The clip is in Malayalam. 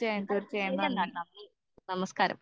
എന്നാൽ ശെരി എന്നാൽ നന്ദി നമസ്കാരം.